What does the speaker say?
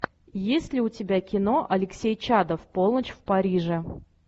есть ли у тебя кино алексей чадов полночь в париже